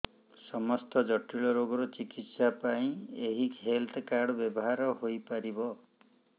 ସମସ୍ତ ଜଟିଳ ରୋଗର ଚିକିତ୍ସା ପାଇଁ ଏହି ହେଲ୍ଥ କାର୍ଡ ବ୍ୟବହାର ହୋଇପାରିବ